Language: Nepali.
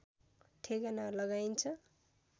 ठेगाना लगाइन्छ